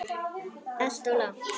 Alltof langt.